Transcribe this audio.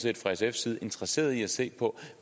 sfs side interesseret i at se på